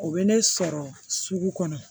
O bɛ ne sɔrɔ sugu kɔnɔ